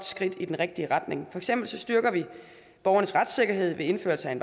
skridt i den rigtige retning for eksempel styrker vi borgernes retssikkerhed ved indførelse af en